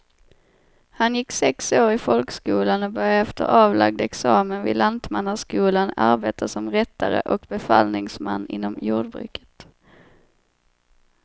Han gick sex år i folkskolan och började efter avlagd examen vid lantmannaskolan arbeta som rättare och befallningsman inom jordbruket.